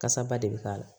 Kasa ba de bɛ k'a la